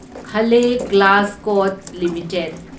ꯍꯂꯦ Glascot limited